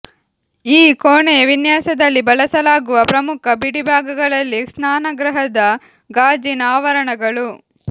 ಈ ಕೋಣೆಯ ವಿನ್ಯಾಸದಲ್ಲಿ ಬಳಸಲಾಗುವ ಪ್ರಮುಖ ಬಿಡಿಭಾಗಗಳಲ್ಲಿ ಸ್ನಾನಗೃಹದ ಗಾಜಿನ ಆವರಣಗಳು